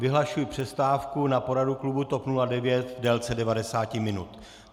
Vyhlašuji přestávku na poradu klubu TOP 09 v délce 90 minut.